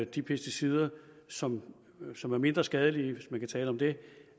de pesticider som som er mindre skadelige hvis man kan tale om det